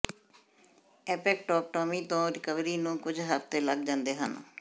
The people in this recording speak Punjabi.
ਐਂਪੈਕਟੈਕਟੋਮੀ ਤੋਂ ਰਿਕਵਰੀ ਨੂੰ ਕੁਝ ਹਫਤੇ ਲੱਗ ਜਾਂਦੇ ਹਨ